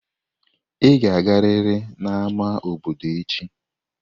Ị ga-agariri n'ámá obodo echi!